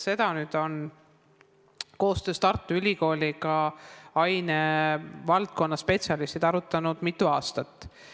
Seda on koostöös Tartu Ülikooliga ainevaldkonna spetsialistid mitu aastat arutanud.